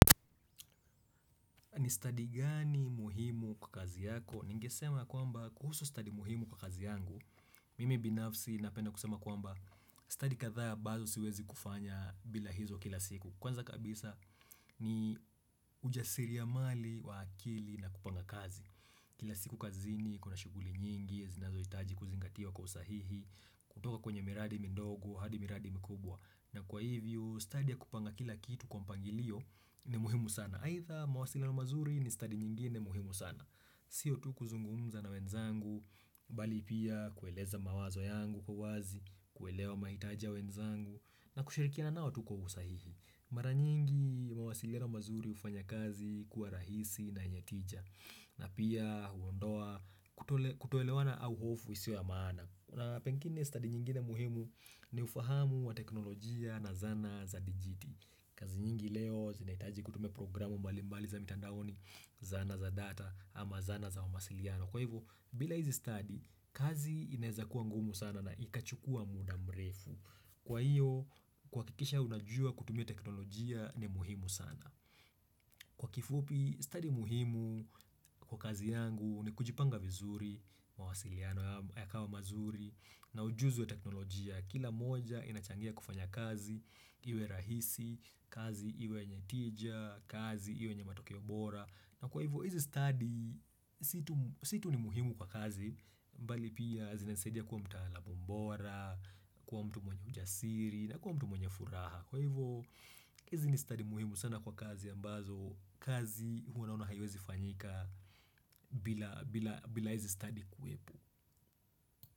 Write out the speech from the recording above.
Ni study gani muhimu kwa kazi yako? Ningesema kwamba kuhusu study muhimu kwa kazi yangu Mimi binafsi napenda kusema kwamba Study kadhaa ambazo siwezi kufanya bila hizo kila siku Kwanza kabisa ni ujasiri ya mali wa akili na kupanga kazi Kila siku kazini kuna shuguli nyingi zinazohitaji kuzingatiwa kwa usahihi kutoka kwenye miradi midogo, hadi miradi mikubwa na kwa hivyo ustadi ya kupanga kila kitu kwa mpangilio ni muhimu sana aidha mawasiliano mazuri ni stadi nyingine muhimu sana. Sio tu kuzungumza na wenzangu, bali pia kueleza mawazo yangu kwa wazi, kuelewa mahitaji ya wenzangu, na kushirikiana nao tu kwa usahihi. Mara nyingi mawasiliano mazuri hufanya kazi kuwa rahisi na yenye tija, na pia huondoa kutoelewana au hofu isio ya maana. Na pengine stadi nyingine muhimu ni ufahamu wa teknolojia na zana za digiti. Kazi nyingi leo zinahitaji kutumia programu mbalimbali za mitandaoni zana za data ama zana za wa mawasiliano. Kwa hivyo, bila hizi stadi, kazi inaeza kuwa ngumu sana na ikachukua muda mrefu. Kwa hiyo, kuhakikisha unajua kutumia teknolojia ni muhimu sana. Kwa kifupi, study muhimu kwa kazi yangu ni kujipanga vizuri, mawasiliano yakawa mazuri na ujuzi wa teknolojia. Kila moja inachangia kufanya kazi, iwe rahisi, kazi iwe yenye tija, kazi iwe yenye matokeo bora. Na kwa hivyo, hizi stadi, si tu ni muhimu kwa kazi, mbali pia zinasaidia kuwa mtaalamu bora, kuwa mtu mwenye ujasiri na kuwa mtu mwenye furaha. Kwa hivyo hizi ni stadi muhimu sana kwa kazi ambazo kazi huwa unaona haiwezi fanyika bila hizi stadi kuwepo.